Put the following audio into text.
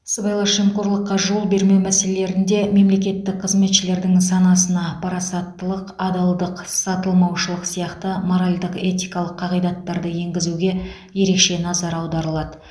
сыбайлас жемқорлыққа жол бермеу мәселелерінде мемлекеттік қызметшілердің санасына парасаттылық адалдық сатылмаушылық сияқты моральдық этикалық қағидаттарды енгізуге ерекше назар аударылады